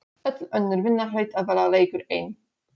Öll önnur vinna hlaut að vera leikur einn